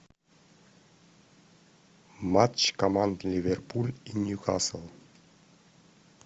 матч команд ливерпуль и ньюкасл